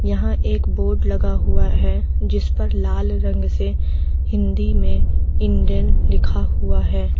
यहां एक बोर्ड लगा हुआ है जिसपर लाल रंग से हिंदी ने इंडेन लिखा हुआ है।